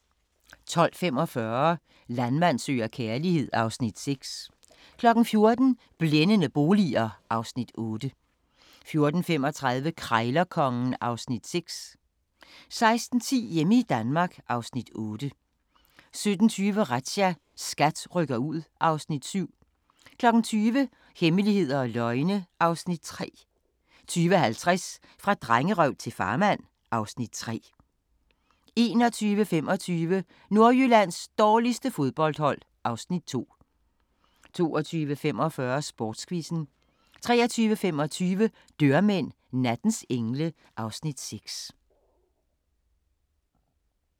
12:45: Landmand søger kærlighed (Afs. 6) 14:00: Blændende boliger (Afs. 8) 14:35: Krejlerkongen (Afs. 6) 16:10: Hjemme i Danmark (Afs. 8) 17:20: Razzia – SKAT rykker ud (Afs. 7) 20:00: Hemmeligheder og løgne (Afs. 3) 20:50: Fra drengerøv til farmand (Afs. 3) 21:25: Nordjyllands dårligste fodboldhold (Afs. 2) 22:45: Sportsquizzen 23:25: Dørmænd – nattens engle (Afs. 6)